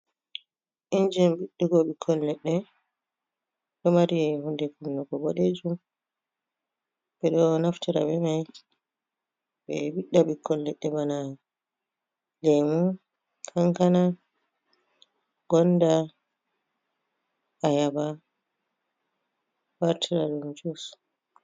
Injin ɓiɗɗugo ɓikkon leɗɗe, ɗo mari hunde kunnugo boɗejum. Ɓeɗo naftira be mai ɓe ɓiɗɗa ɓikkon leɗɗe bana lemu, kankana, gonda, ayaba, ɓe wartira ɗum jus.